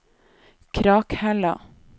Krakhella